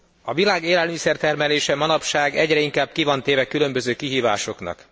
A világ élelmiszer termelése manapság egyre inkább ki van téve különböző kihívásoknak.